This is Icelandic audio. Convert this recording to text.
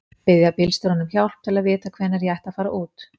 Biðja bílstjórann um hjálp til að vita hvenær ég ætti að fara út.